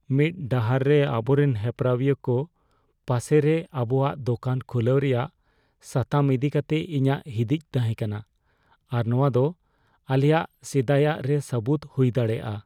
ᱢᱤᱫ ᱰᱟᱦᱟᱨ ᱨᱮ ᱟᱵᱚᱨᱮᱱ ᱦᱮᱯᱨᱟᱣᱤᱭᱟᱹ ᱠᱚ ᱯᱟᱥᱮᱨᱮ ᱟᱵᱚᱣᱟᱜ ᱫᱳᱠᱟᱱ ᱠᱷᱩᱞᱟᱹᱣ ᱨᱮᱭᱟᱜ ᱥᱟᱛᱟᱢ ᱤᱫᱤ ᱠᱟᱛᱮ ᱤᱧᱟᱹᱜ ᱦᱤᱫᱤᱡ ᱛᱟᱦᱮᱸ ᱠᱟᱱᱟ ᱟᱨ ᱱᱚᱶᱟ ᱫᱚ ᱟᱞᱮᱭᱟᱜ ᱥᱮᱫᱟᱭᱟᱜ ᱨᱮ ᱥᱟᱹᱵᱩᱫ ᱦᱩᱭ ᱫᱟᱲᱮᱭᱟᱜᱼᱟ ᱾